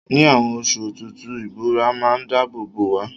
Ni àwon osu òtútù, ìbora má n dáábò bò wá